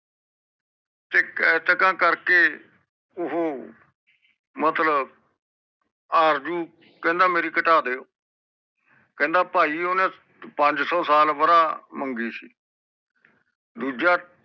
ਤੇ ਕੇਂਟਕਾ ਕਰਕੇ ਓਹੋ ਮਤਲਬ ਆਰਜੂ ਕਹਿੰਦਾ ਮੇਰੀ ਕਤਾ ਦਿਓ ਕਹਿੰਦਾ ਪਾਈ ਓਹਨੇ ਪੰਜ ਸੋ ਸਾਲ ਵਰਾ ਮੰਗੀ ਸੀ ਦੂਜਾ